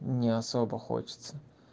не особо хочется